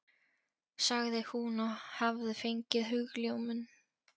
sagði hún og hafði fengið hugljómun.